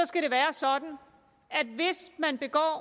skal være sådan at hvis man begår